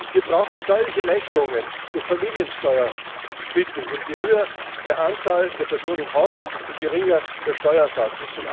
Wir brauchen steuerliche Erleichterungen durch Familiensteuersplitting, je höher die Anzahl der Personen im Haushalt, desto geringer der Steuersatz.